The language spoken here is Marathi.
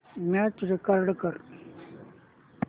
मॅच रेकॉर्ड कर